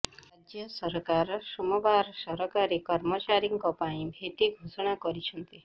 ରାଜ୍ୟ ସରକାର ସୋମବାର ସରକାରୀ କର୍ମଚାରୀଙ୍କ ପାଇଁ ଭେଟି ଘୋଷଣା କରିଛନ୍ତି